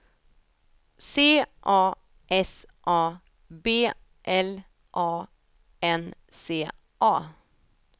C A S A B L A N C A